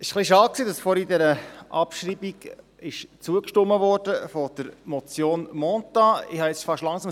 Es ist etwas schade, dass vorhin der Abschreibung der Motion Mentha zugestimmt worden ist.